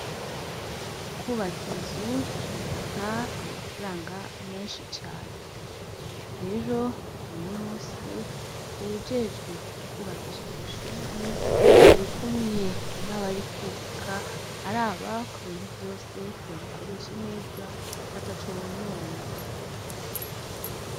Kwubaka inzu bifata amafaranga menshi cane, rero uno munsi uwujejwe kubakisha kwishure arikumwe nabari kubaka araba ko ibintu vyose babikoresha neza ataco bonona.